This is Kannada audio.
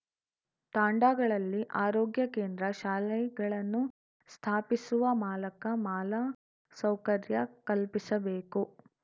ತಾಂಡಾಗಳಲ್ಲಿ ಆರೋಗ್ಯ ಕೇಂದ್ರ ಶಾಲೆಗಳನ್ನು ಸ್ಥಾಪಿಸುವ ಮಾಲಕ ಮಾಲ ಸೌಕರ್ಯ ಕಲ್ಪಿಸಬೇಕು